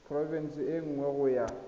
porofense e nngwe go ya